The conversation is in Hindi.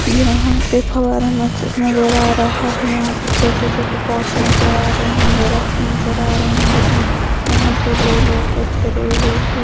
यहां पे फव्वारा नज़ नजर आ रहा है यहां पर छोटे-छोटे पॉट्स नजर आ रहे हैं दरख्त नजर आ रहे हैं यहां पे दो लोग धरे हुए हैं।